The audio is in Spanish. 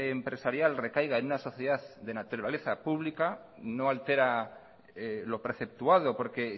empresarial recaiga en una sociedad de naturaleza pública no altera lo preceptuado porque